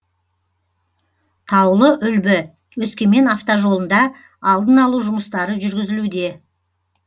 таулы үлбі өскемен автожолында алдын алу жұмыстары жүргізілуде